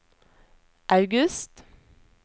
august